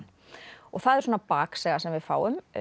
og það er svona baksaga sem við fáum